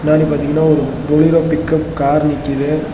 பின்னாடி பாத்தீங்கன்னா ஒரு போலிரோ பிக்அப் கார் நிக்குது.